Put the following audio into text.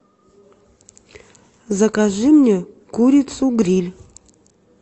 закажи мне курицу гриль